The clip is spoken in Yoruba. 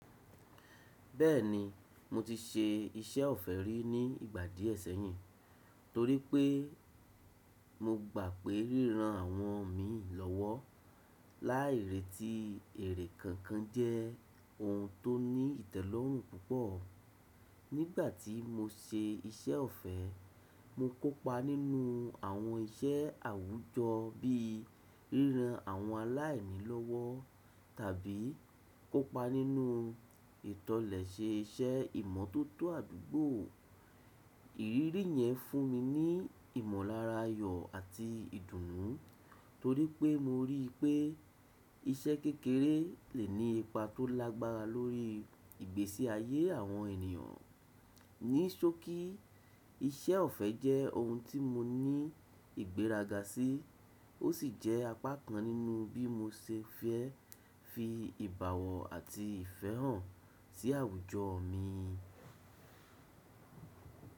Bẹ́ẹ̀ni, mo ti se iṣẹ́ ọ̀fẹ́ rí ní ìgbà díẹ̀ sẹ́yìn, torí pé mo gbà pé ríran àwọn mii lọ́wọ́ láì reti èrè kankan jẹ́ ohun tó ní ìtẹ́lọ́rùn púpọ̀. Nígbà tí mo se iṣẹ́ ọ̀fẹ́, mo kópa nínú àwọn iṣẹ́ àwùjọ bíi ríran àwọn aláìní lọ́wọ́ tàbí kópa nínú ìtọ̀lẹ̀ṣe iṣẹ́ ìmọ̀tótó àdúgbò. Ìrírí yẹn fún mi ní ìmọ̀lára ayọ̀ àti ìdùnú, torí pé mo rí pé iṣẹ́ kékeré lè ní ipa tó lágbára lórí ìgbésí ayé àwọn ènìyàn. Ní ṣọ̀kí, iṣẹ́ ọ̀fẹ́ jẹ́ ohun tí mo ní ìgbéraga sí, ó sì jẹ́ apá kan nínú bí mo ṣe fẹ́ fi ìbàwọ́n àti ìfẹ́ hàn sí àwùjọ mi.